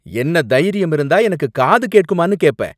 என்ன தைரியம் இருந்தா எனக்கு காது கேட்குமான்னு கேப்ப?